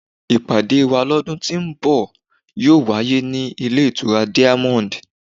Ìpàdé wá lọ́dún tí ó ń bọ̀ yóò wáyé ní ilé ìtura diamond.